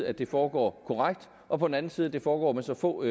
at det foregår korrekt og på den anden side at det foregår med så få